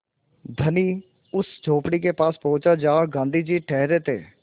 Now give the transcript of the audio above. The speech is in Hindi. धनी उस झोंपड़ी के पास पहुँचा जहाँ गाँधी जी ठहरे थे